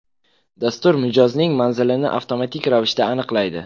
Dastur mijozning manzilini avtomatik ravishda aniqlaydi.